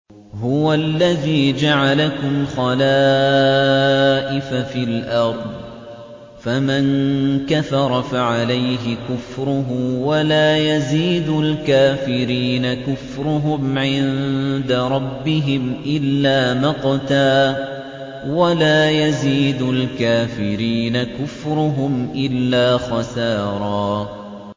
هُوَ الَّذِي جَعَلَكُمْ خَلَائِفَ فِي الْأَرْضِ ۚ فَمَن كَفَرَ فَعَلَيْهِ كُفْرُهُ ۖ وَلَا يَزِيدُ الْكَافِرِينَ كُفْرُهُمْ عِندَ رَبِّهِمْ إِلَّا مَقْتًا ۖ وَلَا يَزِيدُ الْكَافِرِينَ كُفْرُهُمْ إِلَّا خَسَارًا